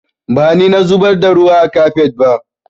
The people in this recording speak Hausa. Ba ni na zubar da ruwa a kafet ba